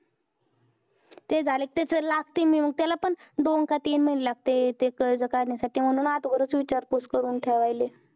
ते झालं कि त्याचं लागतंय, मी त्याला पण दोन का तीन महिने लागतंय ते कर्ज काढण्यासाठी. म्हणून अगोदरचं विचारपूस करून ठेवायलेय.